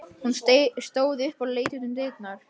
Hún stóð upp og leit út um dyrnar.